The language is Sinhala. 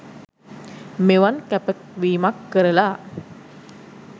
මෙවන් කැපවීමක් කරලා